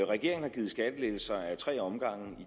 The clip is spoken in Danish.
regeringen har givet skattelettelser ad tre omgange